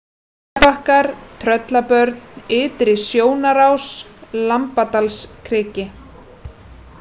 Seljabakkar, Tröllabörn, Ytri-Sjónarás, Lambadalskriki